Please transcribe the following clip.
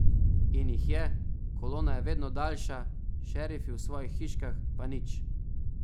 In jih je, kolona je vedno daljša, šerifi v svojih hiškah pa nič...